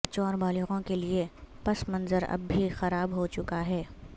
بچوں اور بالغوں کے لئے پس منظر اب بھی خراب ہو چکا ہے